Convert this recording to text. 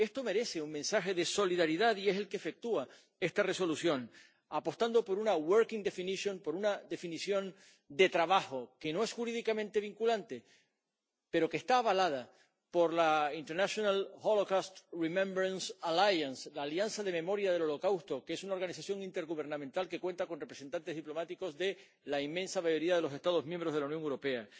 Esto merece un mensaje de solidaridad, y es el que efectúa esta Resolución, apostando por una working definition por una definición de trabajo, que no es jurídicamente vinculante, pero que está avalada por la International Holocaust Remembrance Alliance —la Alianza de Memoria del Holocausto, que es una organización intergubernamental que cuenta con representantes diplomáticos de la inmensa mayoría de los Estados miembros de la Unión Europea—,